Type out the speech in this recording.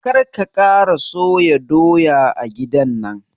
Kar ka kara soya doya a gidan nan!